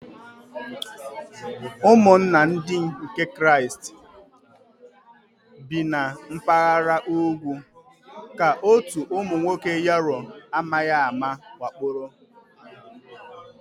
Ụmụnna Ndị nke Kraịst bi na mpaghara ugwu ka otu ụmụ nwoke Yaro amaghị ama wakporo.